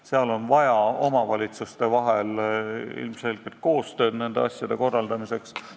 Seal on ilmselgelt vaja koostööd omavalitsuste vahel nende asjade korraldamiseks.